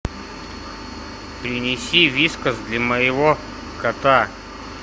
принеси вискас для моего кота